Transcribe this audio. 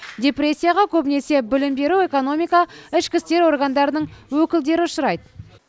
депрессияға көбінесе білім беру экономика ішкі істер органының өкілдері ұшырайды